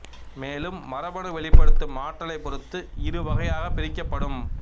மேலும் மரபணு வெளிப்படுத்தும் ஆற்றலை பொருந்து இரு வகையாக பிரிக்கப்படும்